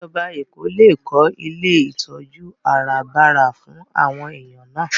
Ìjọba Èkó lè kó ilé ìtọ́jú àràbarà fún àwọn èèyàn náà